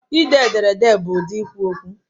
Ide ederede bụ ụdị ikwu okwu